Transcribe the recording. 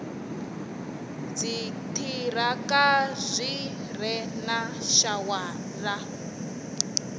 dziṱhirakha zwi re na shawara